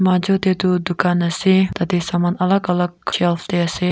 majo te tu dukan ase tatey saman alak alak saman shelf tey ase.